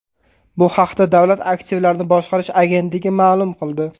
Bu haqda Davlat aktivlarini boshqarish agentligi ma’lum qildi .